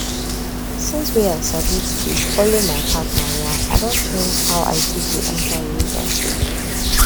since wey i sabi to dey follow my partner yan i don change how i take de enter relationship